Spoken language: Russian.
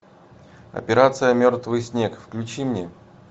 операция мертвый снег включи мне